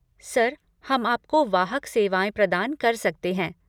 Sir, हम आपको वाहक सेवाएँ प्रदान कर सकते हैं।